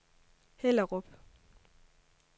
Hellerup